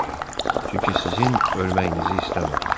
Çünki sizin ölməyinizi istəmədim.